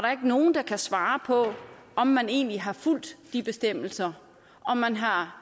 er ikke nogen der kan svare på om man egentlig har fulgt de bestemmelser om man har